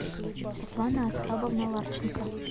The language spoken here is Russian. светлана асхабовна ларченко